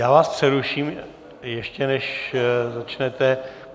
Já vás přeruším, ještě než začnete.